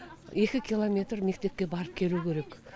екі километр мектепке барып келу керек